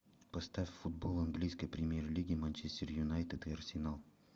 поставь футбол английской премьер лиги манчестер юнайтед и арсенал